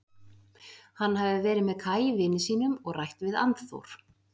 Hann hafi verið með Kaj vini sínum og rætt við Annþór.